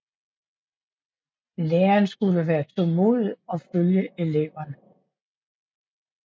Læren skulle være tålmodig og følge eleverne